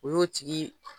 O y'o tigi